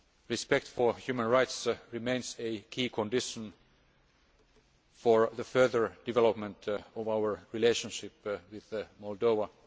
Respect for human rights remains a key condition for the further development of our relationship with Moldova.